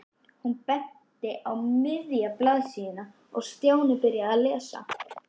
Hún benti á miðja blaðsíðuna og Stjáni byrjaði að lesa.